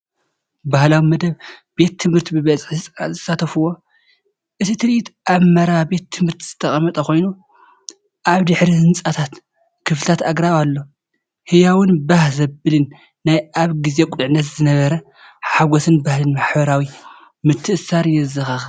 ባህላዊ መደብ ቤት ትምህርቲ ብብዝሒ ህጻናት ዝሳተፍዎ፣ እቲ ትርኢት ኣብ መረባ ቤት ትምህርቲ ዝተቐመጠ ኮይኑ፡ ኣብ ድሕሪት ህንጻታት ክፍልታትን ኣግራብን ኣሎ። ህያውን ባህ ዘብልን ናይቲ ኣብ ግዜ ቁልዕነት ዝነበረ ሓጐስን ባህልን ማሕበራዊ ምትእስሳርን የዘኻኽር።